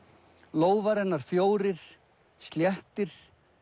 lófar hennar fjórir sléttir